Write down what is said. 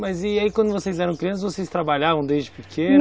Mas e aí, quando vocês eram crianças, vocês trabalhavam desde pequenos?